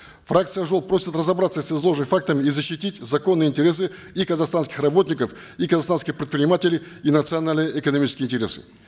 фракция ак жол просит разобраться с изложенными фактами и защитить законные интересы и казахстанских работников и казахстанских предпринимателей и национальные экономические интересы